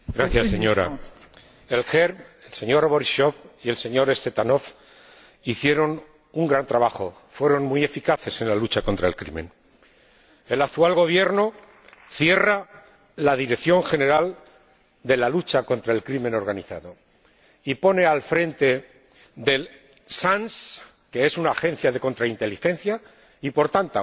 Señora Presidenta, el partido GERB, el señor Borisov y el señor Tsvetanov hicieron un gran trabajo, fueron muy eficaces en la lucha contra el crimen. El actual Gobierno cierra la Dirección General de Lucha contra el Crimen Organizado e integra en la DANS, que es una agencia de contrainteligencia y, por tanto,